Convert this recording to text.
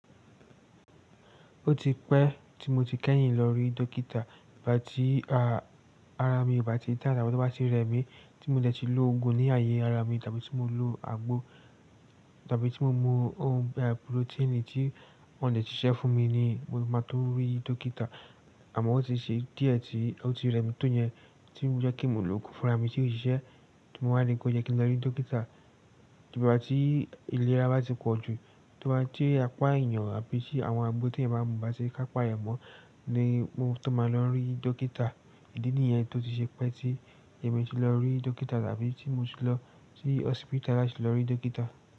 Ó ti pẹ́ tí mo ti kẹ́yìn lọ rí dókítà. I bá ti, ara mi bá ti da tàbí tobá ti rẹ mí tí mo dẹ̀ ti lo oògùn ní ààyè ara mi tàbí tí mo lo àgbo tàbí tí mo mu ohun bíi pùròtíìnì tí wọ́n dẹ̀ ti ṣẹ́ fún mi ni mo máa tó rí dókítà. Àmọ́ ó ti ṣe díẹ̀ tí ó ti rẹ mí tó yẹn tí ó ń jẹ́ kí mo lo ògùn fúnra mi tí ó ṣiṣẹ́ tí mo máa rí kó yẹ kí n lọ rí dókítà. Tí bá tí ìlera bá ti pọ̀ jù, tí wọ́n bá tí apá èèyàn àbí sì àwọn agbo tí ẹ̀yan báa ń mú bá ti kápa èèyan mọ́ ni mo tó máa lọ rí dókítà. Idí nìyẹn tó ti ṣe pé tí èmi ti lọ rí dókítà tàbí tí mo ti lọ sí hospital láti lọ rí dókítà.